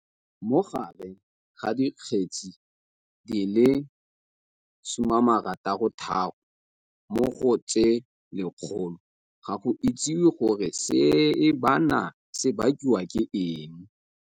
Mo teng ga dikgetse di le 66 mo go tse 100, ga go itsiwe gore seebana se bakiwa ke eng.